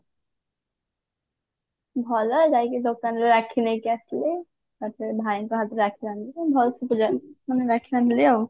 ଭଲ ଯାଇକି ଦୋକାନରୁ ରାକ୍ଷୀ ନେଇକି ଆସିଲି ତାପରେ ଭାଇଙ୍କ ହାତରେ ରାକ୍ଷୀ ବାନ୍ଦିଲି ଭଲସେ ପୁରା ମାନେ ରାକ୍ଷୀ ବାନ୍ଦିଲି ଆଉ